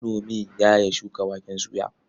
Manomin ya ya shuka waken soya.